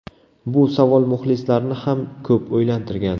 Bu savol muxlislarni ham ko‘p o‘ylantirgan.